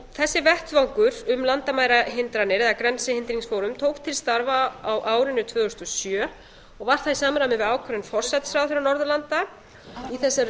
þessi vettvangur um landamærahindranir eða grensehindringsforum tók til starfa á árinu tvö þúsund og sjö og var það í samræmi við ákvæði forsætisráðherra norðurlanda í þessari